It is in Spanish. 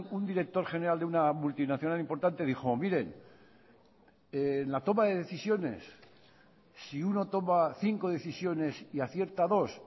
un director general de una multinacional importante dijo miren en la toma de decisiones si uno toma cinco decisiones y acierta dos